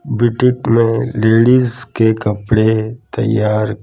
boutique में ladies के कपड़े तैयार--